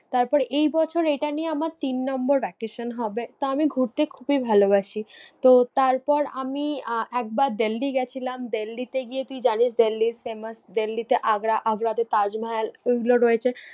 তারপর এই বছর এইটা নিয়ে আমার তিন নম্বর vacation হবে, তো আমি ঘুরতে খুবই ভালোবাসি। তো তারপর আমি আহ একবার দিল্লি গেছিলাম, দিল্লিতে গিয়ে তুই জানিস দিল্লির famous দিল্লিতে আগ্রা, আগ্রাতে তাজ মহল ঐগুলো রয়েছে।